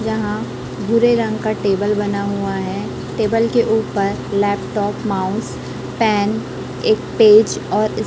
यहां भूरे रंग का टेबल बना हुआ है टेबल के ऊपर लैपटॉप माउस पेन एक पेज और--